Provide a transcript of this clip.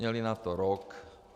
Měli na to rok.